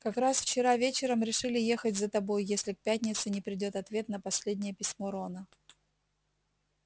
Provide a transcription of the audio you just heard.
как раз вчера вечером решили ехать за тобой если к пятнице не придёт ответ на последнее письмо рона